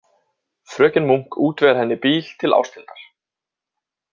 Fröken Munk útvegar henni bíl til Ásthildar.